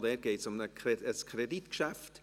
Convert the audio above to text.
Auch dort geht es um ein Kreditgeschäft.